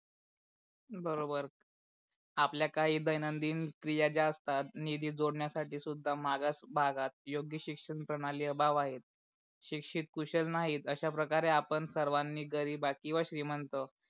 बरोबर. आपल्या काही दैनंदिन क्रिया जास्त आहात निधीत जोडण्या साठी सुद्धा मागास भागात योग्य शिक्षण प्रणाली अभाव आहेत. शिक्षित कुशल नाहीत अश्या प्रकारे आपण सर्वानी गरीब किवा श्रीमंत